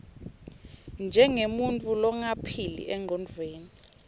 njengemuntfu longaphili engcondvweni